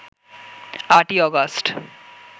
৮ই August